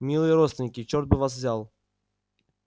милые родственники черт бы вас взял